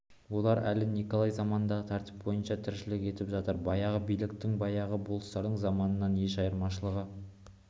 олар әлі николай заманындағы тәртіп бойынша тіршілік етіп жатыр баяғы биліктің баяғы болыстардың заманынан еш айырмашылығы